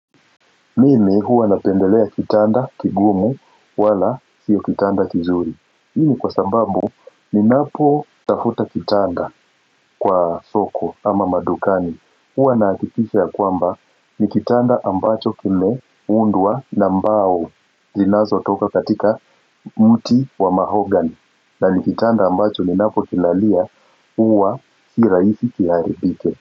Mimi huwa napendelea kitanda kigumu wala sio kitanda kizuri hii ni kwa sababu ni napotafuta kitanda kwa soko ama madukani huwa nahakikisha ya kwamba ni kitanda ambacho kimeundwa na mbao inazotoka katika mti wa mahogany na ni kitanda ambacho ninapo kilalia huwa si raisi kiharibike.